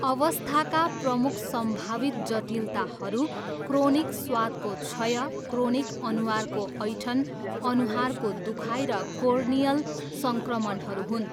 अवस्थाका प्रमुख सम्भावित जटिलताहरू क्रोनिक स्वादको क्षय, क्रोनिक अनुहारको ऐँठन, अनुहारको दुखाइ र कोर्नियल सङ्क्रमणहरू हुन्।